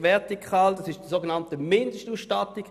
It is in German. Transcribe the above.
Vertikal betrifft die sogenannte Mindestausstattung.